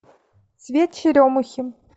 цвет черемухи